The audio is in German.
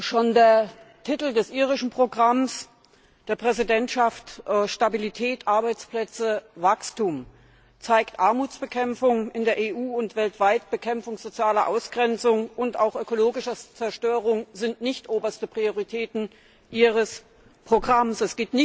Schon der Titel des Programms der irischen Präsidentschaft Stabilität, Arbeitsplätze, Wachstum zeigt, dass Armutsbekämpfung in der EU und weltweit, Bekämpfung sozialer Ausgrenzung und auch ökologischer Zerstörung nicht oberste Prioritäten Ihres Programms sind.